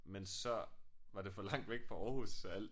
Men så var det for langt væk fra Aarhus så alle